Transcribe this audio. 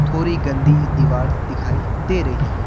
थोरी गंदी दीवार दिखाई दे रही है।